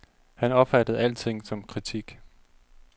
Han opfattede alting som kritik.